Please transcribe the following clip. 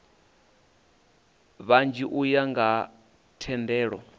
vhanzhi u ya nga themendelo